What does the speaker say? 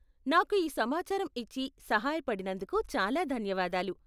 నాకు ఈ సమాచారం ఇచ్చి సహాయపడినందుకు చాలా ధన్యవాదాలు.